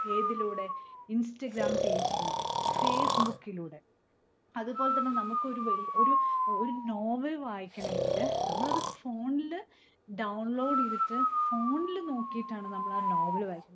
ഏതിലൂടെ? Instagram page ജിലൂടെ. Facebook കിലൂടെ. അതുപോലെത്തന്നെ നമുക്കൊരു വെഒരു ഏർ ഒരു novel വായിക്കണെങ്കില്നമ്മളത് phone ല് download ചെയ്തിട്ട് phone ൽ നോക്കീട്ടാണ് നമ്മളാ വായിക്